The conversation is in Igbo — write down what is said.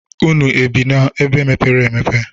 Unu ebị n'ebe mepere emepe?